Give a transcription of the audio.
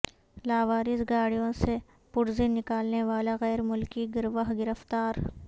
لاوارث گاڑیوں سے پرزے نکالنے والا غیرملکی گروہ گرفتار